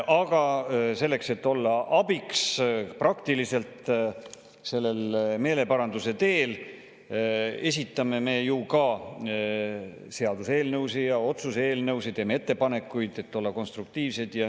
Aga selleks et olla praktiliselt abiks sellel meeleparanduse teel, esitame me seaduseelnõusid ja otsuse eelnõusid, teeme ettepanekuid, et olla konstruktiivsed.